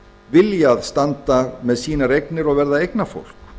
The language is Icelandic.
viljað standa með sínar eignir og verða eignafólk